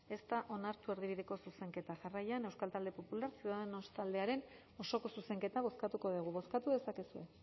ez da onartu erdibideko zuzenketa jarraian euskal talde popular ciudadanos taldearen osoko zuzenketa bozkatuko dugu bozkatu dezakezue